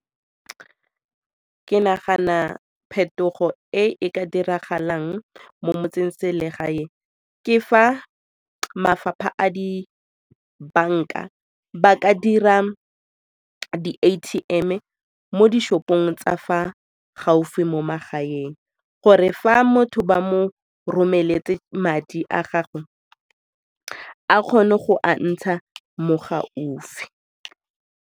Ke nagana phetogo e e ka diragalang mo motsengselegae ke fa mafapha a dibanka ba ka dira di-A_T_M-e mo di-shop-ong tsa fa gaufi mo magaeng gore fa motho ba mo romeletse madi a gagwe a kgone go a ntsha mo gaufi.